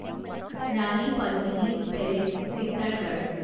ৰাণী পদ্মিনীচ পেলেচ চিত্তৰগড়